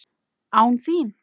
ÁN ÞÍN!?